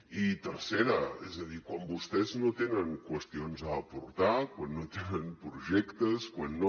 i tercera és a dir quan vostès no tenen qüestions a aportar quan no tenen projectes quan no